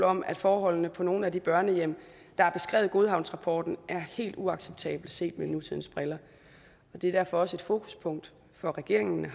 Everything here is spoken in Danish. om at forholdene på nogle af de børnehjem der er beskrevet i godhavnsrapporten er helt uacceptable set med nutidens briller det er derfor også et fokuspunkt for regeringen